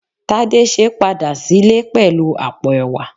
Tadese padà sílè pẹlu àpò ẹ̀wà